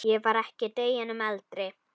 Ég var ekki deginum eldri.